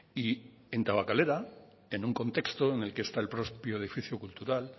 y en tabakalera en un contexto en el que está el propio edificio cultural